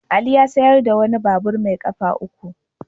Ali ya sayar da wani babur mai kafa uku.